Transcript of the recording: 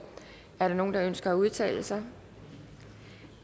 er der nogen der ønsker at udtale sig